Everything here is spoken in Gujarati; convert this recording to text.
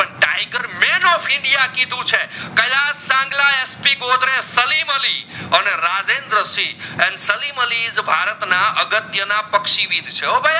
male of india કીધું છે કયા સંગલા એસપી ગોધરે સલીમઅલી અને રાજેન્દ્ર સિંહ and સલિમઅલી is ભારત ના અગતિયા ના પક્ષી વીર છે હો